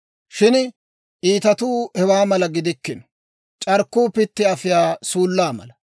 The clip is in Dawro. Shin iitatuu hewaa mala gidikkino; c'arkkuu pitti afiyaa suullaa mala.